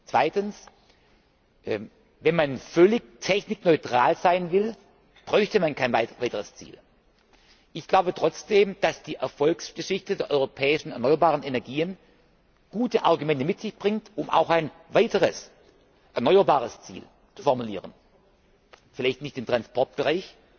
Zweitens Wenn man völlig technikneutral sein will, bräuchte man kein weiteres Ziel. Ich glaube trotzdem, dass die Erfolgsgeschichte der europäischen erneuerbaren Energien gute Argumente mit sich bringt, um auch ein weiteres erneuerbares Ziel zu formulieren vielleicht nicht im Transportbereich,